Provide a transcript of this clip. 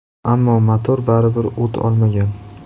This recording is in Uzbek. Ammo motor baribir o‘t olmagan.